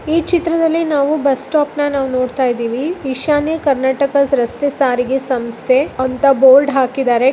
ಈ ಚಿತ್ರದಲ್ಲಿ ನಾವು ಬಸ್ ಸ್ಟಾಪ ನ ನಾವು ನೋಡ್ತಾ ಇದೀವಿ ಈಶಾನ್ಯ ಕರ್ನಾಟಕ ರಸ್ತೆ ಸಾರಿಗೆ ಸಂಸ್ಥೆ ಅಂತ ಬೋರ್ಡ್ ಹಾಕಿದರೆ .